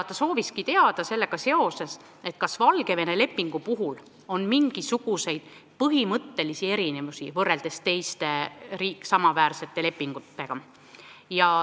Ta sooviski sellega seoses teada, kas Valgevene lepingu puhul on mingisuguseid põhimõttelisi erinevusi võrreldes teiste samaväärsete lepingutega.